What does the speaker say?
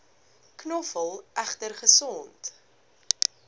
knoffel egter gesond